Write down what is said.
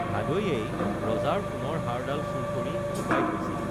হাদৈয়েই ৰজাৰ সোণৰ হাড়ডাল চুৰ কৰি লুকাই থৈছিল